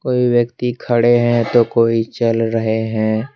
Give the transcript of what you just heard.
कोई व्यक्ति खड़े है तो कोई चल रहे है।